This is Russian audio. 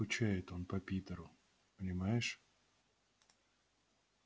скучает он по питеру понимаешь